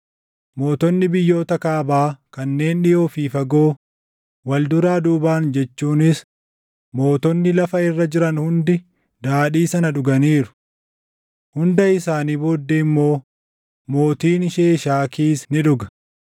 mootonni biyyoota Kaabaa kanneen dhiʼoo fi fagoo, wal duraa duubaan jechuunis mootonni lafa irra jiran hundi daadhii sana dhuganiiru. Hunda isaanii booddee immoo mootiin Sheeshaakiis ni dhuga.